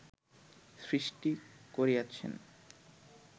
সৃষ্টি করিয়াছেন